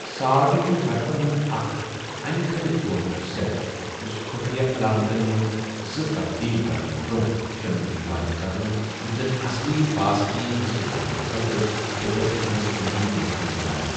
Salt' چُھ حرفن ہُنٛد اَکھ انہِ كھلہِ ژورمُت سیٚٹ یُس خفیہ علامتن منز زٕ تبدیٖل کرنہٕ برٛونٛہہ شٲمِل چُھ یِوان کرنہٕ یُتھ زَن اصلی پاس كی حٲصِل کرنہٕ خٲطرٕ ڈِکِرٛپشنس مٔزید مُشِکل بَناوِ ۔